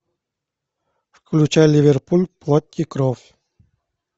включай ливерпуль плоть и кровь